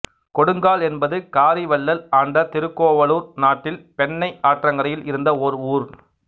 கொடுங்கால் என்பது காரி வள்ளல் ஆண்ட திருக்கோவலூர் நாட்டில் பெண்ணை ஆற்றங்கரையில் இருந்த ஓர் ஊர்